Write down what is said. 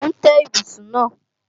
Mò ń tẹ́ ibùsùn náà